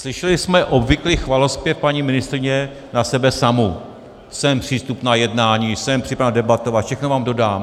Slyšeli jsme obvyklý chvalozpěv paní ministryně na sebe samu - jsem přístupna jednání, jsem připravena debatovat, všechno vám dodám.